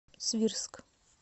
свирск